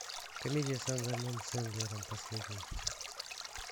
комедия с адамом сэндлером последняя